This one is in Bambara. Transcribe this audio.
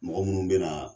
Mɔgɔ munnu bɛna na